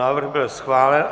Návrh byl schválen.